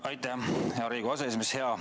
Aitäh, hea Riigikogu aseesimees!